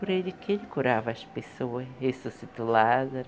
Por ele que ele curava as pessoas, ressuscitou Lázaro,